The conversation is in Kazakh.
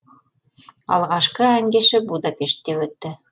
алғашқы ән кеші будапештте өтті